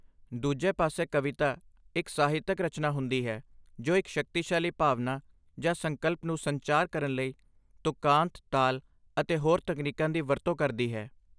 ਦੂਜੇ ਪਾਸੇ, ਕਵਿਤਾ, ਇੱਕ ਸਾਹਿਤਕ ਰਚਨਾ ਹੁੰਦੀ ਹੈ ਜੋ ਇੱਕ ਸ਼ਕਤੀਸ਼ਾਲੀ ਭਾਵਨਾ ਜਾਂ ਸੰਕਲਪ ਨੂੰ ਸੰਚਾਰ ਕਰਨ ਲਈ ਤੁਕਾਂਤ, ਤਾਲ ਅਤੇ ਹੋਰ ਤਕਨੀਕਾਂ ਦੀ ਵਰਤੋਂ ਕਰਦੀ ਹੈ।